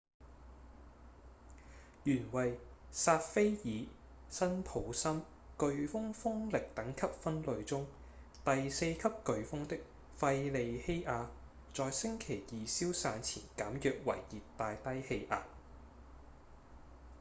原為薩菲爾-辛普森颶風風力等級分類中第四級颶風的費莉希亞在星期二消散前減弱為熱帶低氣壓